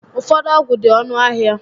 Ụfọdụ ọgwụ dị ọnụ ahịa